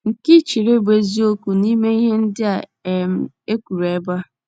nke i chere bụ́ eziokwu n’ime ihe ndị a um e kwuru ebe a?